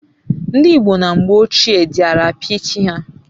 ndi igbo na mgbe ochie diara apia chi ha